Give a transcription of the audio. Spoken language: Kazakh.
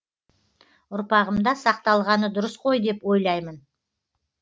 ұрпағымда сақталғаны дұрыс қой деп ойлаймын